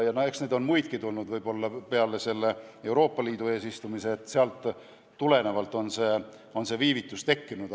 Eks neid ülesandeid ole peale Euroopa Liidu eesistumise võib-olla muidki vahele tulnud ja sellest tulenevalt on see viivitus tekkinud.